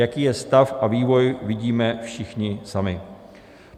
Jaký je stav a vývoj, vidíme všichni sami.